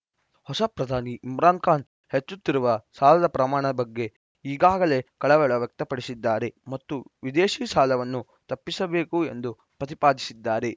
ಹೊಸ ಪ್ರಧಾನಿ ಇಮ್ರಾನ್‌ ಖಾನ್‌ ಹೆಚ್ಚುತ್ತಿರುವ ಸಾಲದ ಪ್ರಮಾಣದ ಬಗ್ಗೆ ಈಗಾಗಲೇ ಕಳವಳ ವ್ಯಕ್ತಪಡಿಸಿದ್ದಾರೆ ಮತ್ತು ವಿದೇಶಿ ಸಾಲವನ್ನು ತಪ್ಪಿಸಬೇಕು ಎಂದು ಪ್ರತಿಪಾದಿಸಿದ್ದಾರೆ